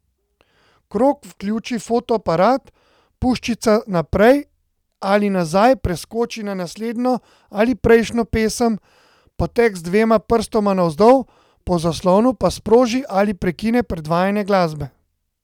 Krog vključi fotoaparat, puščica naprej ali nazaj preskoči na naslednjo ali prejšnjo pesem, poteg z dvema prstoma navzdol po zaslonu pa sproži ali prekine predvajanje glasbe.